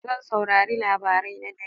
Zan saurari labarai na dare.